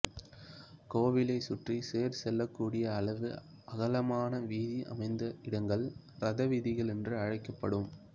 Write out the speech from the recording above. கோவிலைச் சுற்றி தேர் செல்லக்கூடிய அளவு அகலமான வீதி அமைந்த இடங்கள் ரத வீதிகள் என்று அழைக்கப்படும்